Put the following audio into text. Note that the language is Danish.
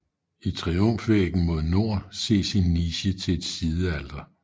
I triumfvæggen mod nord ses en niche til et sidealter